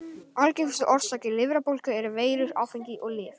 Algengustu orsakir lifrarbólgu eru veirur, áfengi og lyf.